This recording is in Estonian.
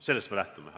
Sellest me lähtume.